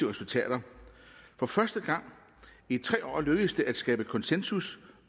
resultater for første gang i tre år lykkedes det at skabe konsensus